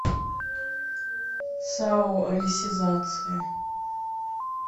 сао алисизация